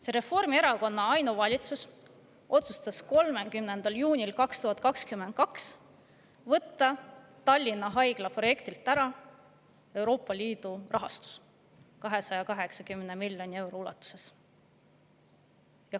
See Reformierakonna ainuvalitsus otsustas 30. juunil 2022 võtta Tallinna Haigla projektilt ära Euroopa Liidu rahastuse 280 miljoni euro ulatuses.